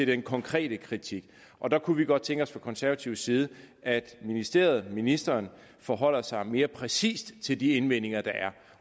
den konkrete kritik og der kunne vi godt tænke os fra konservativ side at ministeriet og ministeren forholdt sig mere præcist til de indvendinger der er